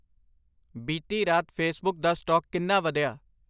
ਬੀਤੀ ਰਾਤ ਫੇਸਬੁੱਕ ਦਾ ਸਟਾਕ ਕਿੰਨਾ ਵਧਿਆ